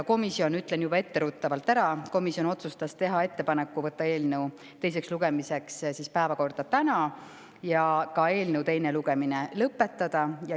Komisjon, ütlen juba etteruttavalt, otsustas teha ettepaneku võtta eelnõu teiseks lugemiseks päevakorda täna ja ka eelnõu teine lugemine lõpetada.